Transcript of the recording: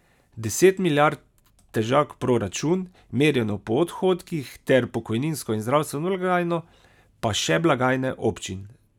Deset milijard težak proračun, merjeno po odhodkih, ter pokojninsko in zdravstveno blagajno pa še blagajne občin.